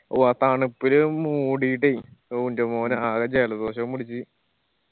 ഓ ആ തണുപ്പില് മൂടിയിട്ടേ ഓ എന്റെ മോനെ ആകെ ജലദോഷവും പിടിച്ച്